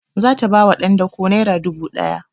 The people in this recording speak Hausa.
Za ta ba wa ɗan dako naira dubu ɗaya